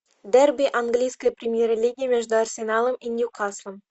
дерби английской премьер лиги между арсеналом и ньюкаслом